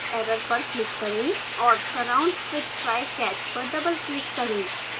error पर click करें और surround with try/catch पर double click करें